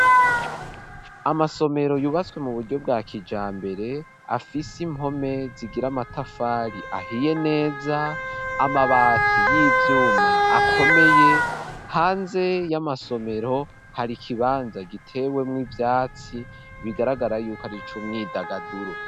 Amasomero, yubatswe mu buryo bwa kijambere, afise impome, zigira amatafari ahiye neza, amabati y'ivyuma, akomeye; hanze y'amasomero, hari ikibanza gitewemwo ivyatsi, bigaragara y'uko, ari ic'umwidagaduro.